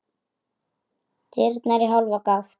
Dyrnar í hálfa gátt.